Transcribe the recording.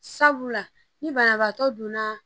Sabula ni banabaatɔ donna